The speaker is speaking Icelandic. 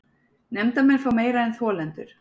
Nefndarmenn fá meira en þolendur